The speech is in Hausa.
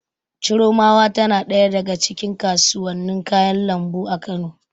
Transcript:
Chiromawa tana ɗaya daga cikin kasuwannin kayan lambu a Kano.